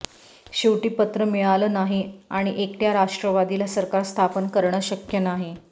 शेवटी पत्र मिळालं नाही आणि एकट्या राष्ट्रवादीला सरकार स्थापन करणं शक्य नाही